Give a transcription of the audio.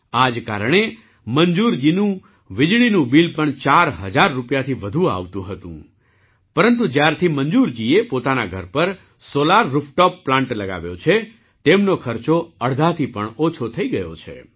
આ કારણે મંજૂરજીનું વીજળીનું બિલ પણ ૪ હજાર રૂપિયાથી વધુ આવતું હતું પરંતુ જ્યારથી મંજૂરજીએ પોતાના ઘર પર સૉલાર રૂફટૉપ પ્લાન્ટ લગાવ્યો છે તેમનો ખર્ચો અડધાથી ઓછો થઈ ગયો છે